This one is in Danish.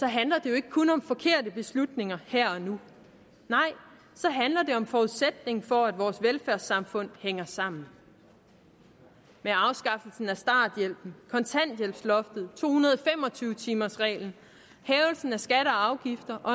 handler det jo ikke kun om forkerte beslutninger her og nu nej så handler det om forudsætningen for at vores velfærdssamfund hænger sammen med afskaffelsen af starthjælpen kontanthjælpsloftet og to hundrede og fem og tyve timersreglen hævelsen af skatter og afgifter og